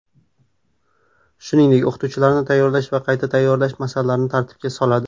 Shuningdek, o‘qituvchilarni tayyorlash va qayta tayyorlash masalalarini tartibga soladi.